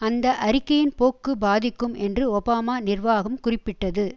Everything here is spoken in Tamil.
அந்த அறிக்கையின் போக்கு பாதிக்கும் என்று ஒபாமா நிர்வாகம் குறிப்பிட்டது